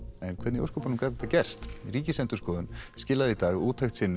en hvernig í ósköpunum gat þetta gerst Ríkisendurskoðun skilaði í dag úttekt sinni